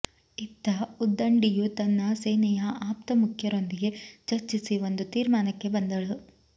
ಇತ್ತ ಉದ್ದಂಡಿಯು ತನ್ನ ಸೇನೆಯ ಆಪ್ತ ಮುಖ್ಯರೊಂದಿಗೆ ಚರ್ಚಿಸಿ ಒಂದು ತೀರ್ಮಾನಕ್ಕೆ ಬಂದಳು